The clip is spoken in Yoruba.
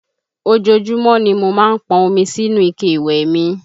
Ojoojúmọ́ ni mo má ń pọn omi sínú ike ìwẹ̀ mi